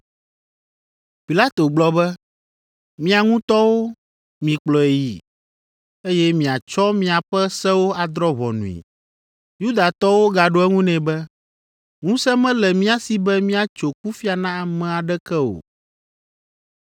Pilato gblɔ be, “Mia ŋutɔwo, mikplɔe yii, eye miatsɔ miaƒe sewo adrɔ̃ ʋɔnui.” Yudatɔwo gaɖo eŋu nɛ be, “Ŋusẽ mele mía si be míatso kufia na ame aɖeke o.”